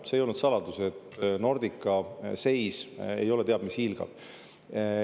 See ei olnud saladus, et Nordica seis ei ole teab mis hiilgav.